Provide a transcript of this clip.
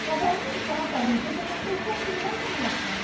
Então, para mim entrar para a visita, eu passei por muita humilhação.